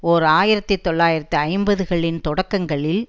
ஓர் ஆயிரத்தி தொள்ளாயிரத்து ஐம்பதுகளின் தொடக்கங்களில்